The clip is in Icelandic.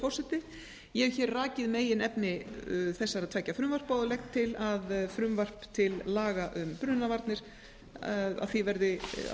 forseti ég hef rakið meginefni þessara tveggja frumvarpa og legg til að frumvarpi til laga um brunavarnir verði að